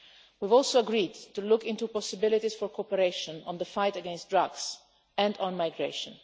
We have also agreed to look into possibilities for cooperation on the fight against drugs and on migration.